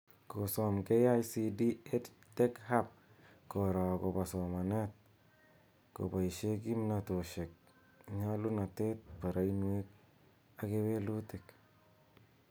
Kosom KICD, EdTech Hub koro akobo somanet koboishe kimnatoshek, nyalunatet, barainwek ak kewelutik